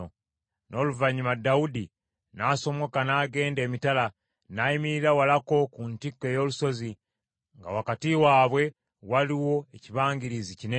N’oluvannyuma Dawudi n’asomoka n’agenda emitala, n’ayimirira walako ku ntikko ey’olusozi, nga wakati waabwe waliwo ekibangirizi kinene.